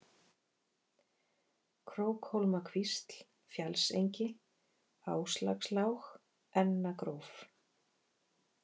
Krókhólmakvísl, Fjallsengi, Áslákslág, Ennagróf